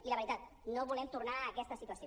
i la veritat no volem tornar a aquesta situació